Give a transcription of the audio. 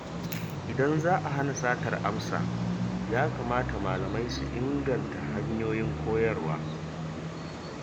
Idan za a hana satar amsa, ya kamata malamai su inganta hanyoyin koyarwa.